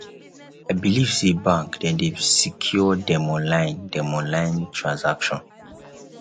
i beliv sey bank dem dey secure dem online dem online transaction